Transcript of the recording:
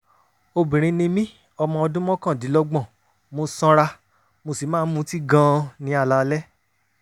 obìnrin ni mí ọmọ ọdún mọ́kàndínlọ́gbọ̀n mo sanra mo sì máa ń mutí gan-an ní alaalẹ́